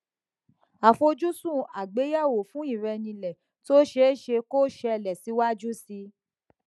afojusun agbeyewo fun irenile to seese ko sele siwaju sii